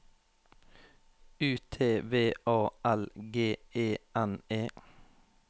U T V A L G E N E